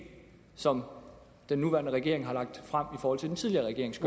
som den nuværende regering har lagt frem i forhold til den tidligere regerings